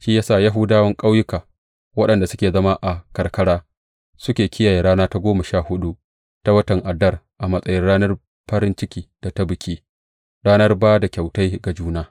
Shi ya sa Yahudawan ƙauyuka, waɗanda suke zama a karkara, suke kiyaye rana ta goma sha huɗu ta watan Adar a matsayin ranar farin ciki da ta biki, ranar ba da kyautai ga juna.